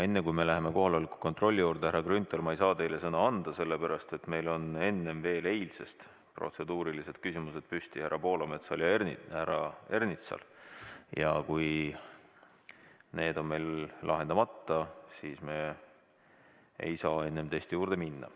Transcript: Enne, kui me läheme kohaloleku kontrolli juurde, härra Grünthal, ma ei saa teile sõna anda, sellepärast et meil on veel eilsest härra Poolametsal ja härra Ernitsal protseduurilised küsimused üleval ja kui need on meil lahendamata, siis me ei saa teiste juurde minna.